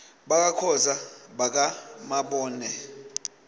bakakhoza baka mabone